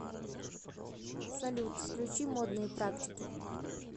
салют включи модные практики